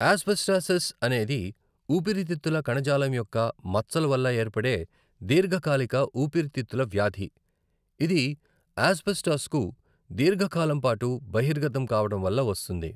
Asbestosis అనేది ఊపిరితిత్తుల కణజాలం యొక్క మచ్చల వల్ల ఏర్పడే దీర్ఘకాలిక ఊపిరితిత్తుల వ్యాధి, ఇది ఆస్బెస్టాస్కు దీర్ఘ కాలం పాటు బహిర్గతం కావడం వల్ల వస్తుంది.